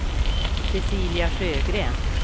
Cecilia Sjögren